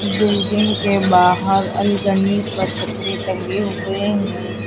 Building के बाहर अलगनी पर कपड़े टंगे हुए हैं।